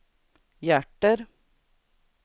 hjärter